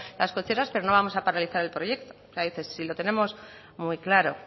las cocheras pero no vamos a paralizar el proyecto si lo tenemos muy claro